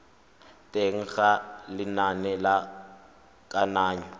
teng ga lenane la kananyo